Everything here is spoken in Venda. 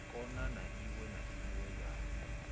khona iwe na iwe ya